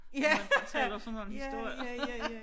Når man fortæller sådan nogle historier